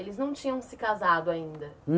Eles não tinham se casado ainda?